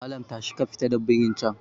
Malam tashi ka fita da birin can